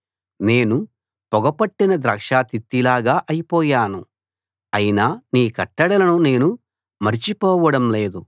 నేను పొగ పట్టిన ద్రాక్ష తిత్తిలాగా అయిపోయాను అయినా నీ కట్టడలను నేను మరచిపోవడం లేదు